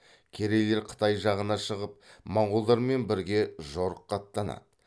керейлер қытай жағына шығып монғолдармен бірге жорыққа аттанады